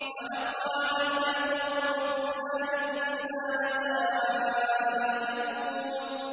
فَحَقَّ عَلَيْنَا قَوْلُ رَبِّنَا ۖ إِنَّا لَذَائِقُونَ